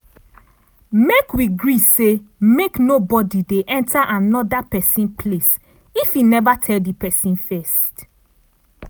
make we gree say make nobodi dey enta anoda pesin place if e neva tell di pesin first.